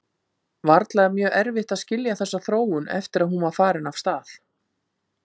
Varla er mjög erfitt að skilja þessa þróun eftir að hún var farin af stað.